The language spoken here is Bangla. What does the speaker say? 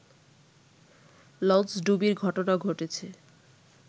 লঞ্চডুবির ঘটনা ঘটেছে